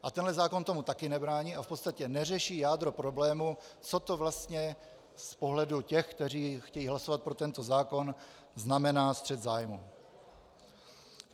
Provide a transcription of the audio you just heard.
A tenhle zákon tomu taky nebrání a v podstatě neřeší jádro problému, co to vlastně z pohledu těch, kteří chtějí hlasovat pro tento zákon, znamená střet zájmů.